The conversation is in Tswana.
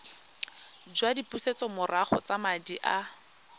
jwa dipusetsomorago tsa madi a